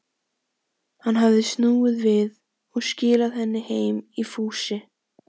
Hann hafði snúið við og skilað henni heim í fússi.